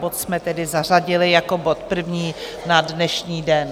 Bod jsme tedy zařadili jako bod první na dnešní den.